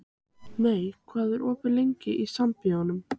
Mey, hvað er opið lengi í Sambíóunum?